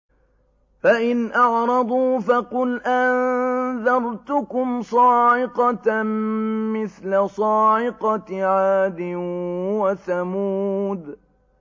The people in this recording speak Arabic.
فَإِنْ أَعْرَضُوا فَقُلْ أَنذَرْتُكُمْ صَاعِقَةً مِّثْلَ صَاعِقَةِ عَادٍ وَثَمُودَ